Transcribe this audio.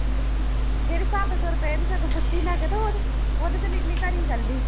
ਜਿਹੜੀ ਸੱਤ ਸੌ ਰੁਪਏ ਦੀ ਤਾਂ ਇੱਕ ਪੁੱਟੀ ਉਹਦੇ ਤੇ ਨੀਲੀ ਘੜੀ ਇਕੱਲੀ